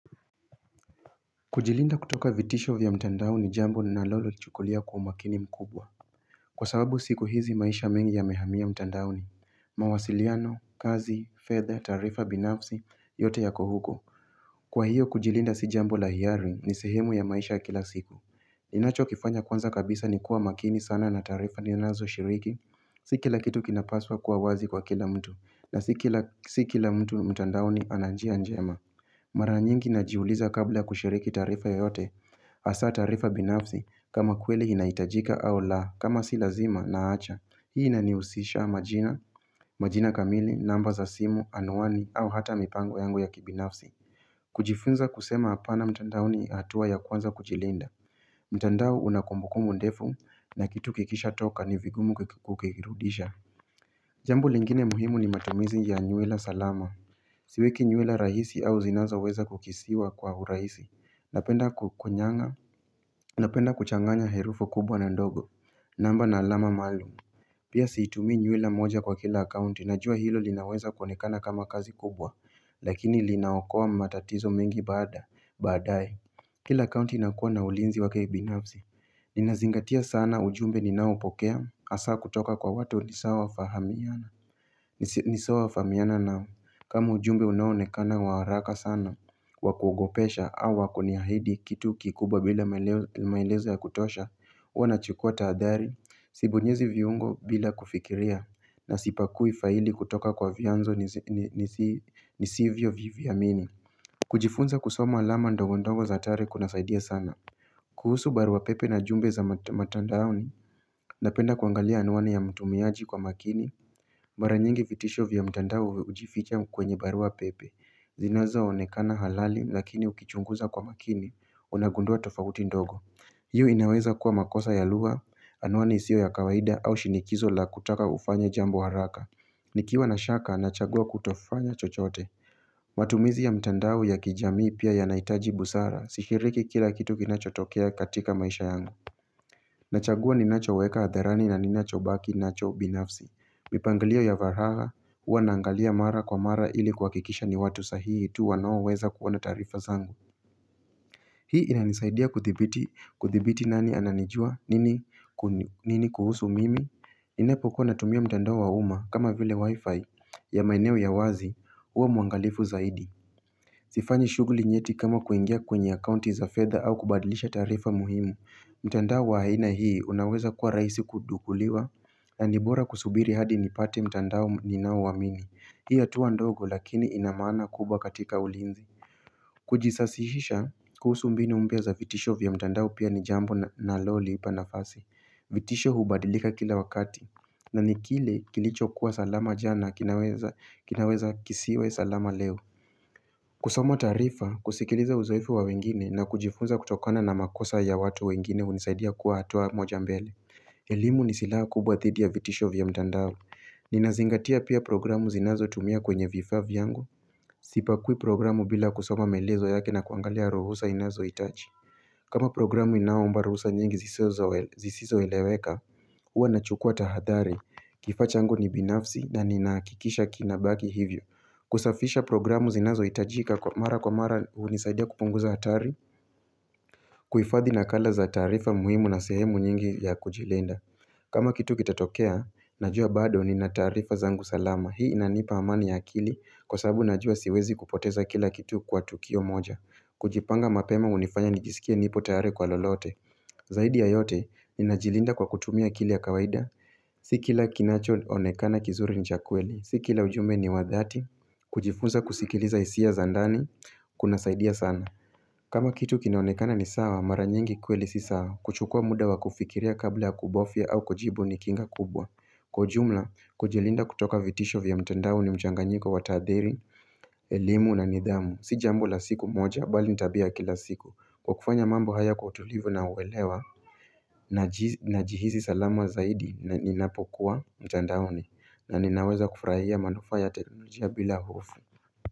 Kujilinda kutoka vitisho vya mtandaoni ni jambo ninalolichukulia kwa makini mkubwa Kwa sababu siku hizi maisha mengi yamehamia mtandaoni mawasiliano, kazi, fedha, taarifa binafsi, yote yako huko Kwa hiyo kujilinda si jambo la hiari ni sehemu ya maisha ya kila siku ninachokifanya kwanza kabisa ni kuwa makini sana na taarifa ninazoshiriki Si kila kitu kinapaswa kuwa wazi kwa kila mtu na si kila mtu mtandaoni ana njia njema Mara nyingi najiuliza kabla kushiriki taarifa yeyote hasaa taarifa binafsi kama kweli inahitajika au la kama si lazima naacha Hii inanihusisha majina, majina kamili, namba za simu, anuani au hata mipango yangu ya kibinafsi kujifunza kusema hapana mtandaoni ni hatua ya kwanza kujilinda mtandao unakumbukumbu ndefu na kitu kikishatoka ni vingumu kukirudisha Jambo lingine muhimu ni matumizi ya nywela salama Siweki nywela rahisi au zinazoweza kukisiwa kwa urahisi Napenda kukunyang'a, napenda kuchanganya herufu kubwa na ndogo, namba na alama maalum Pia siitumii nywela moja kwa kila akaunti, najua hilo linaweza kuonekana kama kazi kubwa Lakini linaokoa matatizo mengi baada, baadaye Kila akaunti inakuwa na ulinzi wake binafsi Ninazingatia sana ujumbe ninaoupokea, hasaa kutoka kwa watu ni sawa fahamiana ni sawa fahamiana nao, kama ujumbe unaonekana wa haraka sana wa kuogopesha au kuniahidi kitu kikubwa bila maelezo ya kutosha huwa nachukota adhari, siunyezi viungo bila kufikiria na sipakui faili kutoka kwa vyanzo nisivyoviviamini kujifunza kusoma alama ndogo ndogo za atari kunasaidia sana kuhusu barua pepe na jumbe za matandaoni Napenda kuangalia anwani ya mtumiaji kwa makini Mara nyingi vitisho vya mtandao hujificha kwenye barua pepe Zinawezaonekana halali lakini ukichunguza kwa makini, unagundua tofauti ndogo Hii inaweza kuwa makosa ya lua, anuani isio ya kawaida au shinikizo la kutaka ufanye jambo haraka Nikiwa na shaka, nachagua kutofanya chochote matumizi ya mtandao ya kijami pia yanaitaji busara, sishiriki kila kitu kinachotokea katika maisha yangu Nachagua ninachoweka hadharani na ninacho baki nacho binafsi Mipangalia ya varagha Huanangalia mara kwa mara ili kwa kikisha ni watu sahihi tu wanoa weza kuona tarifa zangu Hii inanisaidia kuthibiti kuthibiti nani ananijua nini kuhusu mimi ninapokuwa natumia mtandao wa uma kama vile wifi ya maineo ya wazi Huanangalifu zaidi Sifanyi shuguli nyeti kama kuengia kwenye account za feather au kubadilisha tarifa muhimu mtandao wa aina hii unaweza kuwa raisi kudukuliwa na ni bora kusubiri hadi nipate mtandao ninao wamini Hiya tuwa ndogo lakini inamana kubwa katika ulinzi Kujisasisisha kuhusu mbinu mpya za vitisho vya mtandao pia ni jambo na loliipa nafasi vitisho hubadilika kila wakati na ni kile kilichokuwa salama jana kinaweza kisiwe salama leo kusoma taarifa kusikiliza uzoifu wa wengine na kujifunza kutokana na makosa ya watu wengine unisaidia kuwa hatua moja mbele elimu ni sillha kubwa dhidi ya vitisho vya mtandao Ninazingatia pia programu zinazotumia kwenye vifavi yangu Sipakui programu bila kusoma melezo yake na kuangalia ruhusa inazoitaji kama programu inaomba ruhusa nyingi zisizoeleweka Uwa nachukua tahadhari Kifaa changu ni binafsi na ninakikisha kinabaki hivyo kusafisha programu zinazo itajika kwa mara kwa mara unisadia kupunguza atari kuifadhi na kala za tarifa muhimu na sehemu nyingi ya kujilenda kama kitu kitatokea, najua bado nina taarifa zangu salama Hii inanipa amani ya akili kwa sababu najua siwezi kupoteza kila kitu kwa tukio moja kujipanga mapema unifanya nijisikia nipo tare kwa lolote Zaidi ya yote, inajilinda kwa kutumia akili ya kawaida Si kila kinachoonekana kizuri ni cha kweli Si kila ujumbe ni wadhati, kujifunza kusikiliza isia zandani, kuna saidia sana kama kitu kinaonekana ni sawa, mara nyingi kweli si sawa kuchukua muda wa kufikiria kabla ya kubofia au kujibu ni kinga kubwa Kujumla, kujelinda kutoka vitisho vya mtandaoni mchanganyiko watadheri, elimu na nidhamu Si jambo la siku moja, bali nitabia kila siku kukufanya mambo haya kwa tulivu na uwelewa Najihizi salama zaidi na ninapokuwa mtandaoni na ninaweza kufuraia manufa ya teknolojia bila hofu.